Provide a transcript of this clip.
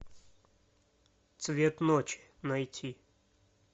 цвет ночи найти